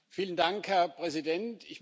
Vielen Dank Herr Präsident!